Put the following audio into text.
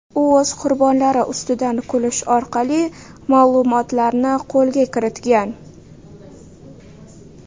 U o‘z qurbonlari ustidan kulish orqali ma’lumotlarni qo‘lga kiritgan.